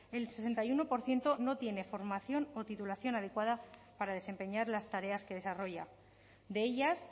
el sesenta y uno por ciento no tiene formación o titulación adecuada para desempeñar las tareas que desarrolla de ellas